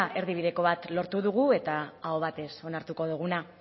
erdibideko bat lortu dugu eta aho batez onartuko duguna